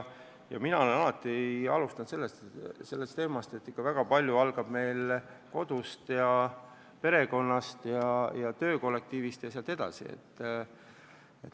Mina olen alati rõhutanud, et ikka väga palju algab kodust ja perekonnast, hiljem sõltub palju töökollektiivist.